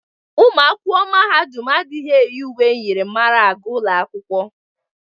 Ụmụ akwụkwọ mahadum adịghị eyi uwe myịrịmara aga ụlọ akwụkwọ.